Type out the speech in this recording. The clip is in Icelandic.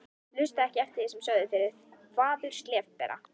Hlustaði ekki eftir því sem aðrir sögðu, fyrirleit þvaður, slefbera.